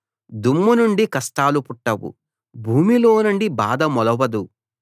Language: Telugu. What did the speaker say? దుమ్ము నుండి కష్టాలు పుట్టవు భూమిలోనుండి బాధ మొలవదు